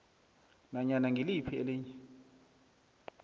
nanyana ngiliphi elinye